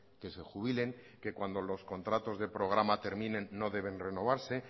que se jubilen que cuando los contratos de programa terminen no deben renovarse